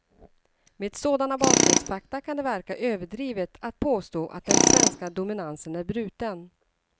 Med sådana bakgrundsfakta kan det verka överdrivet att påstå att den svenska dominansen är bruten.